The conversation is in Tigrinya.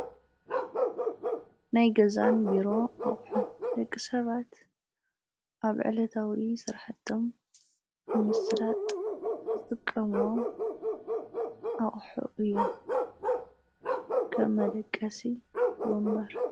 ናይ ገዛን ቢሮን ኣቁሑ ደቂሰባት ኣብ ዕለታዊ ስርሕቶም ንምስላጥ ዝጥቀምዎም ኣቁሑ እዮም ።ከም መደቀሲ ፣ወንበር